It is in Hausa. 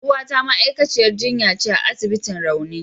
Yar uwata ma'aikaciyar jinya ce a asibitin rauni.